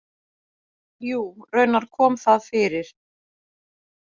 Jú, raunar kom það fyrir.